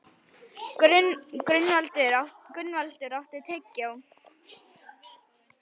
Gunnvaldur, áttu tyggjó?